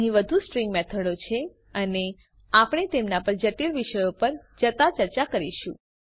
અહીં વધુ સ્ટ્રીંગ મેથડો છે અને આપણે તેમના પર જટિલ વિષયો પર જતા ચર્ચા કરીશું